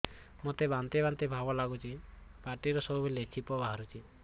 ମୋତେ ବାନ୍ତି ବାନ୍ତି ଭାବ ଲାଗୁଚି ପାଟିରୁ ସବୁ ବେଳେ ଛିପ ବାହାରୁଛି